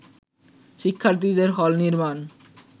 শিক্ষার্থীদের হল নির্মাণ